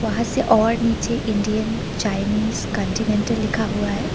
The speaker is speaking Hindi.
वहां से और निचे इंडियन चाइनीस कॉन्टिनेंटल लिखा हुआ है।